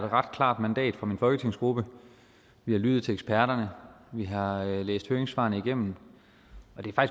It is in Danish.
ret klart mandat fra min folketingsgruppe vi har lyttet til eksperterne vi har læst høringssvarene igennem